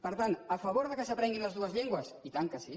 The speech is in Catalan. per tant a favor que s’aprenguin les dues llengües i tant que sí